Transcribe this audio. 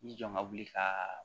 I jɔ ka wuli ka